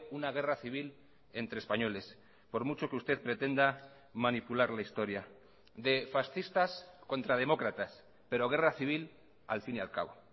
una guerra civil entre españoles por mucho que usted pretenda manipular la historia de fascistas contra demócratas pero guerra civil al fin y al cabo